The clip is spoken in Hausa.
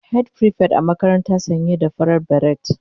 Head prefect a makarantara sanye da farar beret